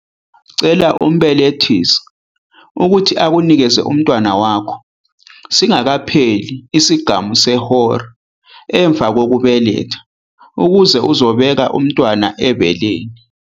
Cela umbelethisi ukuthi akunikeze umntwana wakho singakapheli isigamu sehora emuva kokubeletha, ukuze uzobeka umntwana ebeleni.